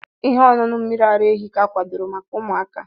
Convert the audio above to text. Ihe ọṅụṅụ mmiri ara ehi ka akwadoro maka ụmụaka.